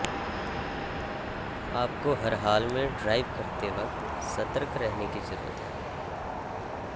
आपको हर हाल में ड्राइव करते वक्त सतर्क रहने की जरुरत है